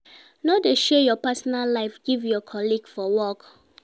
No de share your personal life give your colleague for work